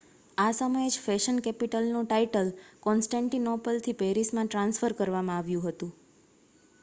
આ સમયે જ ફેશન કેપિટલનું ટાઇટલ કોન્સ્ટન્ટિનોપલથી પેરિસ માં ટ્રાન્સફર કરવામાં આવ્યું હતું